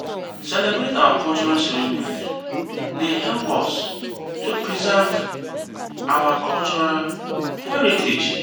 celebrate our cultural ceremonies dey help us to preserve our cultural heritage.